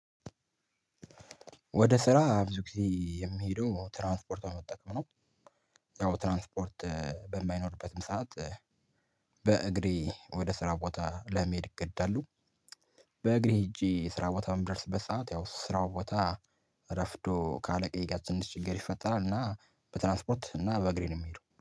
ወደ ስራ ብዙ ጊዜ የሚሄደው ትራንስፖርት በመጠቀም ነው። ያው ትራንስፖርት በማይኖርበትም ሰዓት በእግሬ ወደ ስራ ቦታ ለመሄድ እገደዳለው። በእግሬ ሄጄ ስራ ቦታ በምደርስበት ሰዓት ያው ስራው ቦታ ረፍዶ ካአለቀዬ ጋር ትንሽ ችግር ይፈጠራል። እና በትራንስፖርት እና በእግሬ ነው የምሄደው